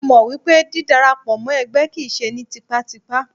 Mo mọ̀ wípé dí dara pọ̀ mọ́ ẹgbẹ́ kìí ṣe ní tipátipá.